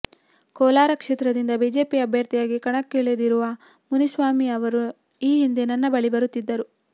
ಕೋಲಾರ ಕ್ಷೇತ್ರದಿಂದ ಬಿಜೆಪಿ ಅಭ್ಯರ್ಥಿಯಾಗಿ ಕಣಕ್ಕಿಳಿದಿರುವ ಮುನಿಸ್ವಾಮಿ ಅವರು ಈ ಹಿಂದೆ ನನ್ನ ಬಳಿ ಬರುತ್ತಿದ್ದರು